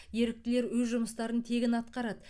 еріктілер өз жұмыстарын тегін атқарады